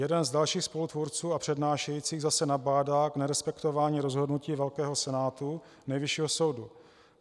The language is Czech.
Jeden z dalších spolutvůrců a přednášejících zase nabádá k nerespektování rozhodnutí velkého senátu Nejvyššího soudu.